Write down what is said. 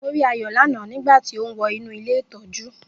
Mo rí Ayo lánáà nígbà tí ó ń wọ inú ilé ìtọ́jú